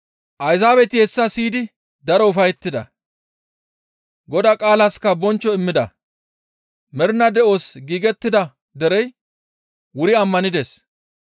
Ayzaabeti hessa siyidi daro ufayettida; Godaa qaalaska bonchcho immida; mernaa de7os giigettida derey wuri ammanides.